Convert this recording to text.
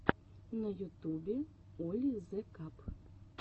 на ютубе оли зе каб